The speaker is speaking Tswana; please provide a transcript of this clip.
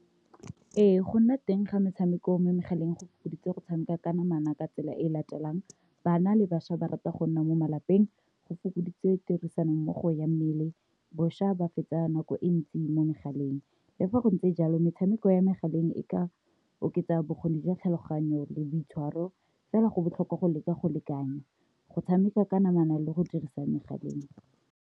Ee, go nna teng ga metshameko mo megaleng go fokoditse go tshameka ka namana ka tsela e latelang. Bana le bašwa ba rata go nna mo malapeng go fokoditse tirisanommogo ya mmele bošwa ba fetsa nako e ntsi mo megaleng, le fa go ntse jalo, metshameko ya megaleng e ka oketsa bokgoni jwa tlhaloganyo le boitshwaro, fela go botlhokwa go leka go lekanya go tshameka ka namana le go dirisa megaleng.